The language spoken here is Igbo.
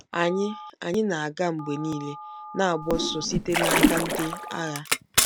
Anyị Anyị na-aga mgbe niile, na-agba ọsọ site n'aka ndị agha.